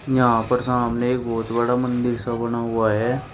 यहां पर सामने एक बहुत बड़ा मंदिर सा बना हुआ है।